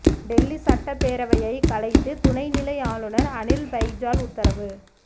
டெல்லி சட்டப்பேரவையை கலைத்து துணை நிலை ஆளுநர் அனில் பைஜால் உத்தரவு